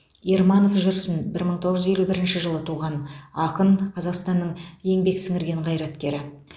ерманов жүрсін бір мың тоғыз жүз елу бірінші жылы туған ақын қазақстанның еңбек сіңірген қайраткері